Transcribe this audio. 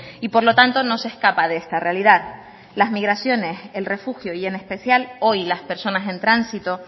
y por lo tanto no se escapa de esta realidad las migraciones el refugio y en especial hoy las personas en tránsito